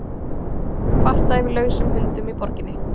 Kvartað yfir lausum hundum í borginni